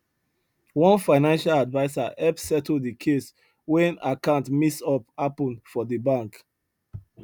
one financial advisor help settle the case when account mix up happen for the bank